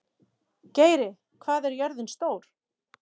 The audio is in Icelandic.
Geiri, hvað er jörðin stór?